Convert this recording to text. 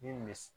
Min bɛ